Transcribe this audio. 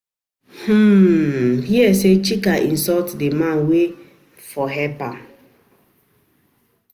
I hear say Chika insult the man wey for help am